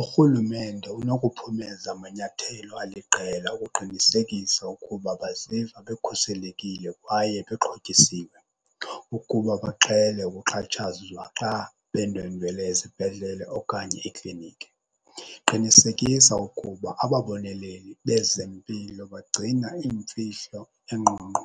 Urhulumente unokuphumeza amanyathelo aliqela ukuqinisekisa ukuba basiva bekhuselekile kwaye bexhotyisiwe ukuba baqhele ukuxhatshazwa xa bendwendwele ezibhedlele okanye iikliniki. Qinisekisa ukuba ababoneleli bezempilo bagcina iimfihlo engqongqo